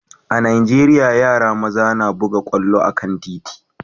a'Nijeriya, yaran maza na buga kwallo a'kan titi.